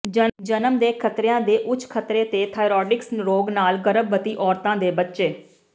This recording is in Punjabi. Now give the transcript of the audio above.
ਜਨਮ ਦੇ ਖਤਰਿਆਂ ਦੇ ਉੱਚ ਖਤਰੇ ਤੇ ਥਾਈਰੋਇਡਸ ਰੋਗ ਨਾਲ ਗਰਭਵਤੀ ਔਰਤਾਂ ਦੇ ਬੱਚੇ